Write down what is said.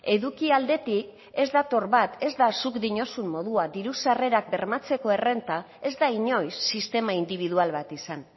eduki aldetik ez dator bat ez da zuk diozun modua diru sarrerak bermatzeko errenta ez da inoiz sistema indibidual bat izan